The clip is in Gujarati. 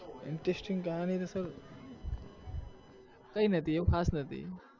interesting કહાની કઈ નથી એવું ખાસ નથી.